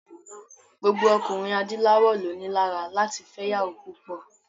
Gbogbo ọkùnrin adúláwọ̀ ló ni lára láti fẹ́ ìyàwó púpọ̀.